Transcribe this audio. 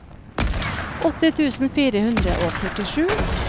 åtti tusen fire hundre og førtisju